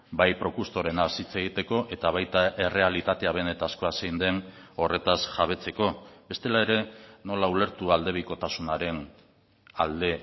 bai procustorenaz hitz egiteko eta baita errealitatea benetakoa zein den horretaz jabetzeko bestela ere nola ulertu aldebikotasunaren alde